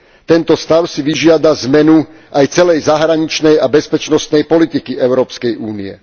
Tento stav si vyžiada zmenu aj celej zahraničnej a bezpečnostnej politiky Európskej únie.